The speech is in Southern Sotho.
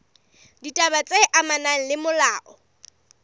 ditaba tse amanang le molao